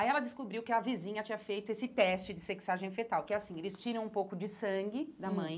Aí ela descobriu que a vizinha tinha feito esse teste de sexagem fetal, que é assim, eles tiram um pouco de sangue hum da mãe,